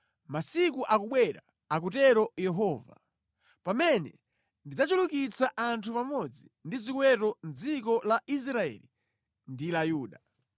“Masiku akubwera,” akutero Yehova, “pamene ndidzachulukitsa anthu pamodzi ndi ziweto mʼdziko la Israeli ndi la Yuda.